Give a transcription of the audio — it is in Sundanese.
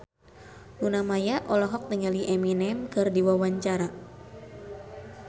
Luna Maya olohok ningali Eminem keur diwawancara